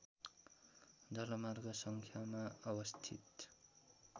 जलमार्ग सङ्ख्यामा अवस्थित